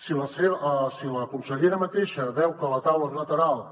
si la consellera mateixa veu que la taula bilateral